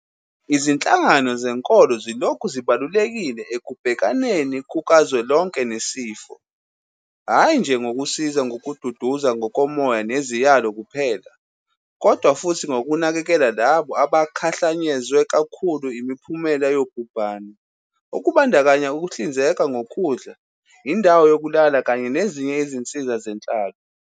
Izinhlangano zenkolo zilokhu zibalulekile ekubhekaneni kukazwelonke nesifo, hhayi nje ngokusiza ngokududuza ngokomoya neziyalo kuphela, kodwa futhi ngokunakekela labo abakhahlanyezwe kakhulu imiphumela yobhubhane, okubandakanya ukuhlinzeka ngokudla, indawo yokulala kanye nezinye izinsiza zenhlalo.